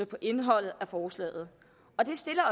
på indholdet af forslaget og det stiller